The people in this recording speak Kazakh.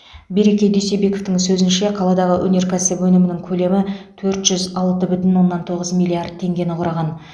береке дүйсебековтың сөзінше қаладағы өнеркәсіп өнімінің көлемі төрт жүз алты бүтін оннан тоғыз миллиард теңгені құраған